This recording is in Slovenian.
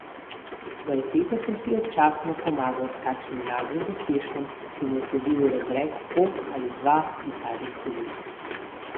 Za uteho sem si občasno pomagal s kakšnim naglim pospeškom, ki mu je sledil rezek pok ali dva iz zadnjih cevi.